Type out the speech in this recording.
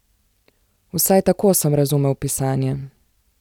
Vsaj tako sem razumel pisanje.